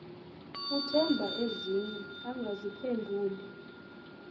uthemba ezinye engaziphenduli